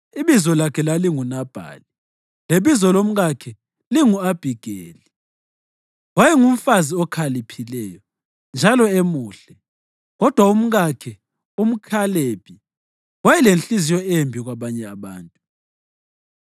Ibizo lakhe lalinguNabhali lebizo lomkakhe lingu-Abhigeli. Wayengumfazi okhaliphileyo njalo emuhle, kodwa umkakhe, umʼKhalebi, wayelenhliziyo embi kwabanye abantu.